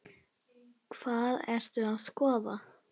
Hvað ertu að skoða?